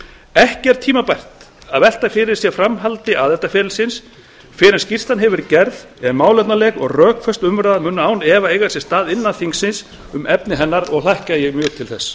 ekki er tímabært að velta fyrir sér framhaldi aðildarferlisins fyrr en skýrslan hefur verið gerð en málefnaleg og rökföst umræða mun án efa eiga sér stað innan þingsins um efni hennar og hlakka ég mjög til þess